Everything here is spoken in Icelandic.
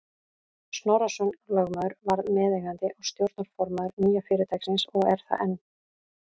Snorrason lögmaður varð meðeigandi og stjórnarformaður nýja fyrirtækisins og er það enn.